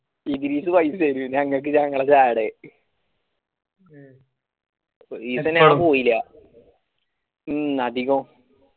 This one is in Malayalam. ഇതിൽ നിന്ന് പൈസ തരും ഞാൻ ഇങ്ങക്ക് ഭയങ്കര ജാഡ എന്നിട് ഞാൻ പോയില്ല ഉം അധികോം